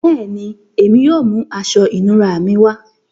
Bẹẹni, èmi yóò mú àṣọ ìnúrà mí wá.